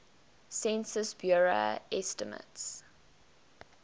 census bureau estimates